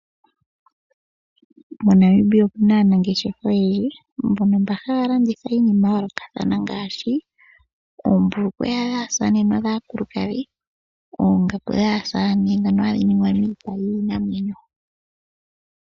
Mo Namibia otuna aanageshefa oyendji mbono haya landitha iinima yayoloka kathana ngaashi Oombulukwe dhasamane no dhakulukadhi , Ongaku dhasamane dhoka hadhi ningwa miipa yiinamwenyo.